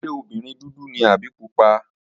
Ṣé obìnrin dúdú ni àbí pupa?